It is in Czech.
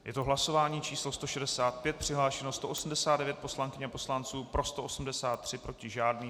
Je to hlasování číslo 165, přihlášeno 189 poslankyň a poslanců, pro 183, proti žádný.